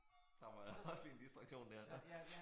Der var også lige en distraktion der nåh